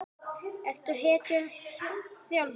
Ertu hættur þjálfun?